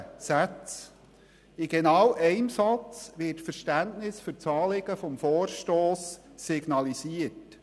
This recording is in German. In einem Satz wird Verständnis für das Anliegen des Vorstosses signalisiert.